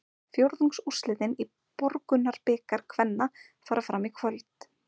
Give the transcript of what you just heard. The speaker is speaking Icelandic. Fjórðungsúrslitin í Borgunarbikar kvenna fara fram í kvöld.